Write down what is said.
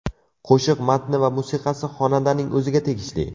Qo‘shiq matni va musiqasi xonandaning o‘ziga tegishli.